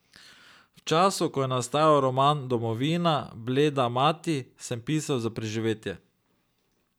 V času, ko je nastajal roman Domovina, bleda mati, sem pisal za preživetje.